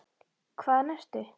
Hvaðan ertu?